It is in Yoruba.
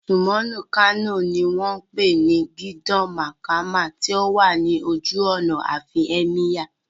Mùsíọ̀mù Kano ní wọ́n pè ní Gidan Makama tó wà ní ojú ọ̀nà àfin Ẹ́míyà